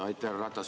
Härra Ratas!